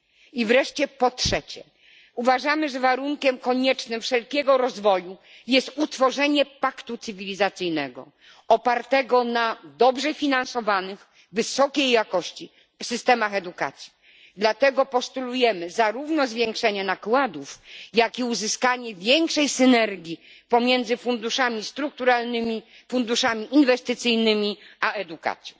I wreszcie po trzecie, uważamy, że warunkiem koniecznym wszelkiego rozwoju jest ustanowienie paktu cywilizacyjnego opartego na dobrze finansowanych wysokiej jakości systemach edukacji. Dlatego postulujemy zarówno zwiększenie nakładów, jak i uzyskanie większej synergii pomiędzy funduszami strukturalnymi, funduszami inwestycyjnymi a edukacją.